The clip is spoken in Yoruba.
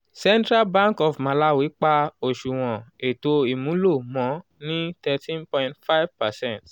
central bank of malawi pa oṣuwọn eto imulo mọ ni thirteen point five percent